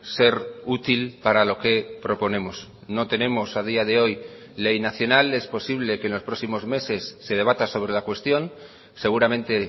ser útil para lo que proponemos no tenemos a día de hoy ley nacional es posible que en los próximos meses se debata sobre la cuestión seguramente